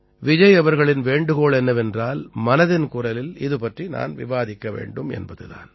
விஜய் அவர்களின் வேண்டுகோள் என்னவென்றால் மனதின் குரலில் இது பற்றி நான் விவாதிக்க வேண்டும் என்பது தான்